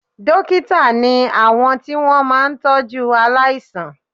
Dókítà ni àwọn tí wọ́n máa ń tọ́jú aláìsàn